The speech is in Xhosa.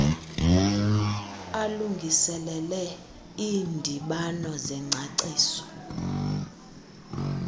alungiselele iindibano zengcaciso